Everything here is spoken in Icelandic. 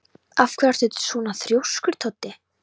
Af hverju ertu svona þrjóskur, Toddi?